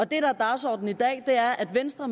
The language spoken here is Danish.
der er dagsordenen i dag er at venstre